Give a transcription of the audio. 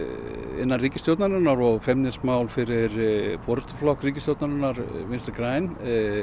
innan ríkisstjórnarinnar og feimnismál fyrir forystuflokk ríkisstjórnarinnar Vinstri græn